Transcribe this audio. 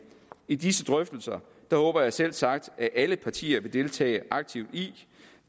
i disse drøftelser håber jeg selvsagt at alle partier vil deltage aktivt